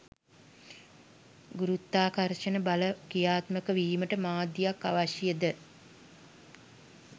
ගුරුත්වාකර්ෂණ බල ක්‍රියාත්මක වීමට මාධ්‍යයක් අවශ්‍යද?